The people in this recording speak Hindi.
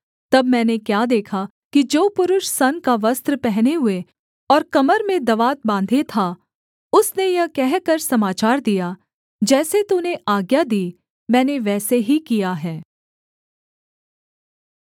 तब मैंने क्या देखा कि जो पुरुष सन का वस्त्र पहने हुए और कमर में दवात बाँधे था उसने यह कहकर समाचार दिया जैसे तूने आज्ञा दी मैंने वैसे ही किया है